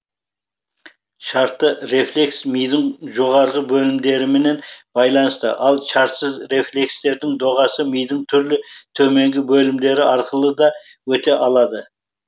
шартты рефлекс мидың жоғарғы бөлімдерімен байланысты ал шартсыз рефлекстердің доғасы мидың түрлі төменгі бөлімдері арқылы да өте алады